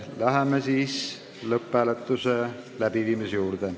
Läheme siis lõpphääletuse ettevalmistamise juurde.